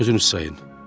Özünüz sayın.